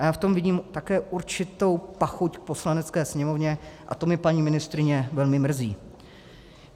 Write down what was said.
A já v tom vidím také určitou pachuť v Poslanecké sněmovně, a to mě, paní ministryně, velmi mrzí.